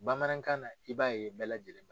Bamanankan na i b'a ye bɛɛ lajɛlen